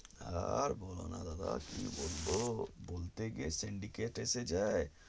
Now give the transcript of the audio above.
আর বোলো না দাদা কি বলবো বলতে গিয়ে chen এসে যায়